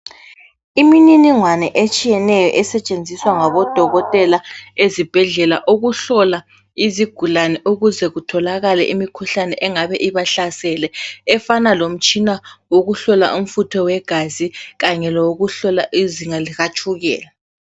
Imininingwane etshiyeneyo esetshenziswa ngabodokotela ezibhedlela ukuhlola izigulane ukuze kutholakale imikhuhlane engabe ibahlasele efana lomtshina wokuhlola umfutho wegazi kanye lowokuhlola izinga lika tshukela.